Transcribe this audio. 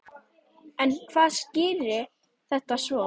En hvað skýrir þetta svo?